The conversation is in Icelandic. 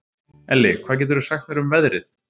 Elli, hvað geturðu sagt mér um veðrið?